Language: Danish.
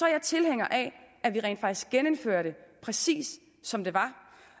jeg tilhænger af at vi rent faktisk genindfører det præcis som det var